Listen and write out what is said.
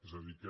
és a dir que